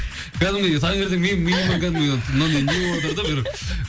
кәдімгідей таңертең менің миыма кәдімгідей мынандай не болыватыр да бір